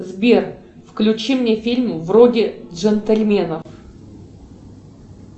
сбер включи мне фильм вроде джентльменов